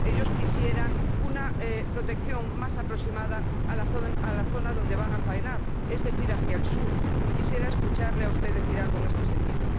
Ellos quisieran una protección más aproximada a la zona donde van a faenar, es decir, hacia el sur, y quisiera escucharle a usted decir algo en este sentido.